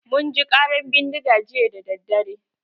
Mun ji ƙarar bindiga jiya dadadare.